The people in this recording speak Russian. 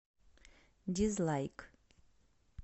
дизлайк